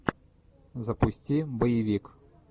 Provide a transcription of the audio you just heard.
запусти боевик